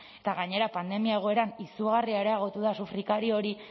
eta gainera pandemia egoeran izugarri areagotu da sufrikario hori